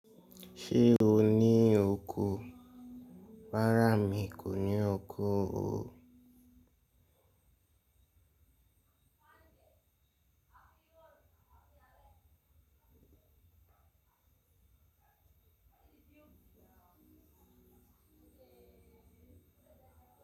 Ṣé o ní oko? Rárá mi kò ní oko o.